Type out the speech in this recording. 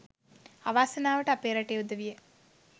අවාසනාවට අපේ රටේ උදවිය